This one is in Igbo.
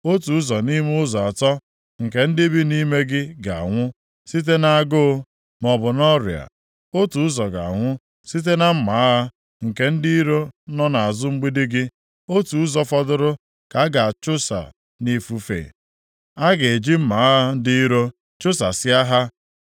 Otu ụzọ nʼime ụzọ atọ nke ndị bi nʼime gị ga-anwụ site nʼagụụ maọbụ na ọrịa; otu ụzọ ga-anwụ site na mma agha nke ndị iro nọ nʼazụ mgbidi gị, otu ụzọ fọdụrụ ka a ga-achụsa nʼifufe, a ga-eji mma agha ndị iro chụsasịa ha.